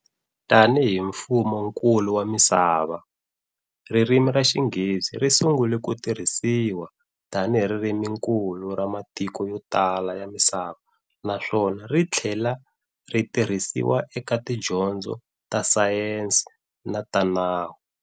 Tanihi mfumonkulu wa misava, ririmi raXinghezi ri sungule kutirhisiwa tanihi ririminkulu ra matiko yo tala ya misava naswona rithlela ritirhisiwa eka tidyondzo ta Sayenzi na ta nawu.